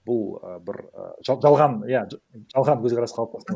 бұл і бір і жалған иә жалған көзқарас қалыптасқан